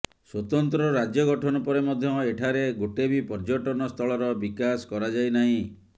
ସ୍ୱତନ୍ତ୍ର ରାଜ୍ୟ ଗଠନ ପରେ ମଧ୍ୟ ଏଠାରେ ଗୋଟେ ବି ପର୍ଯ୍ୟଟନ ସ୍ଥଳର ବିକାଶ କରାଯାଇନାହିଁ